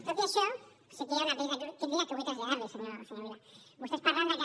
tot i això sí que hi ha una petita crítica que vull traslladar li senyor vila vostès parlen de que